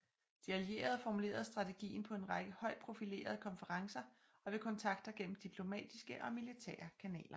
De allierede formulerede strategien på en række højt profilerede konferencer og ved kontakter gennem diplomatiske og militære kanaler